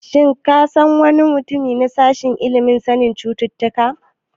Shin ka san wani mutum ya sashen ilimin sanin cututtuka?